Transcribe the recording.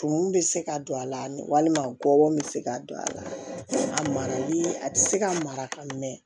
Tumun bɛ se ka don a la walima gɔbɔn bɛ se ka don a la a marali a bɛ se ka mara ka mɛn